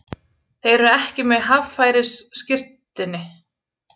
Þeir eru ekki með haffærisskírteini